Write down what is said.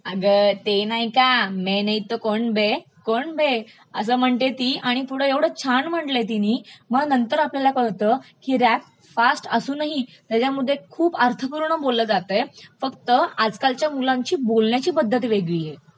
अगं ते नाही का मैं नही तो कोन बे, कोन बे असं म्हणते ती आणि पुढे ऐवढं छान म्हटलय तिनी मग नंतर आपल्याला कळतं की रॅप फास्ट असूनही त्याच्यमध्ये खूप अर्थपूर्ण बोललं जातय फक्त आजकालच्या मुलांची बोलण्याची पध्दत वेगळी आहे